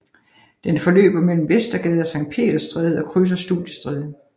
Den forløber mellem Vestergade og Sankt Peders Stræde og krydser Studiestræde